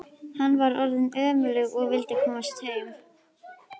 Hann var orðinn önugur og vildi komast heim.